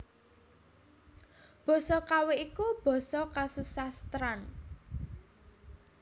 Basa Kawi iku basa kasusastran